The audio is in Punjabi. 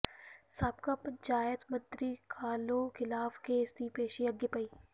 ਸਾਬਕਾ ਪੰਚਾਇਤ ਮੰਤਰੀ ਕਾਹਲੋਂ ਖ਼ਿਲਾਫ਼ ਕੇਸ ਦੀ ਪੇਸ਼ੀ ਅੱਗੇ ਪਈ